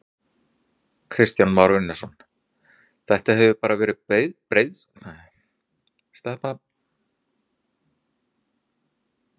Kristján Már Unnarsson: Þetta hefur bara verið breiðstræti ef svo má segja?